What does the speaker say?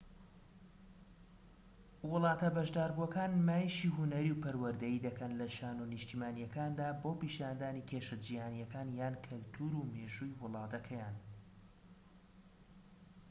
وڵاتە بەشداربووەکان نمایشی هونەری و پەروەردەیی دەکەن لە شانۆ نیشتیمانیەکاندا بۆ پیشاندانی کێشە جیهانیەکان یان کەلتور و مێژووی وڵاتەکەیان